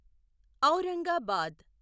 Aurangabad